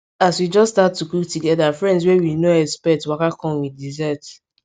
as we just start to cook togeda friends wey we nor expect waka come with dessert